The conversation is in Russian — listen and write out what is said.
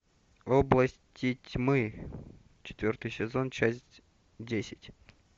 области тьмы четвертый сезон часть десять